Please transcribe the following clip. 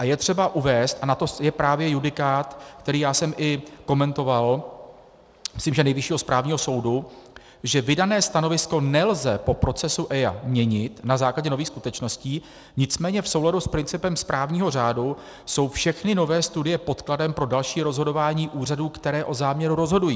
A je třeba uvést, a na to je právě judikát, který já jsem i komentoval, myslím, že Nejvyššího správního soudu, že vydané stanovisko nelze po procesu EIA měnit na základě nových skutečností, nicméně v souladu s principem správního řádu jsou všechny nové studie podkladem pro další rozhodování úřadů, které o záměru rozhodují.